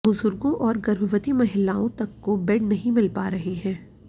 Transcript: बुजुर्गो और गर्भवती महिलाओं तक को बेड नहीं मिल पा रहे है